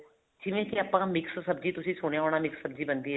ਜਿਵੇਂ ਕੀ ਆਪਾਂ mix ਸਬਜੀ ਤੁਸੀਂ ਸੁਣਿਆ ਹੋਣਾ mix ਸਬਜੀ ਬਣਦੀ ਹੈ